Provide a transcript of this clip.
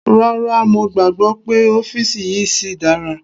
Rárá, mo gbàgbọ́ pé ọ́fìsì yìí síi dára.